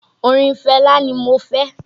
Orin Fẹlá ni mo fẹ́